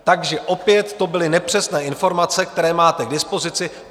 Takže opět to byly nepřesné informace, které máte k dispozici.